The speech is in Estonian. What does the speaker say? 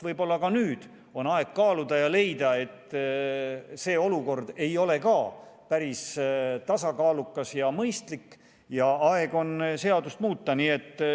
Võib-olla on nüüd taas aeg kaaluda ja leida, et see olukord ei ole päris tasakaalukas ja mõistlik ja aeg on seadust muuta?